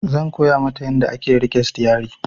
Zan koya mata yanda ake riƙe sitiyari